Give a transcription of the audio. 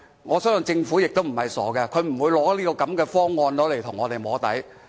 我相信政府也不是傻的，它不會拿這種方案跟我們"摸底"。